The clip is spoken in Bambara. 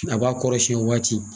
A b'a kɔrɔsiyɛn o waati.